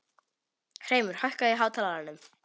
Hreimur, hækkaðu í hátalaranum.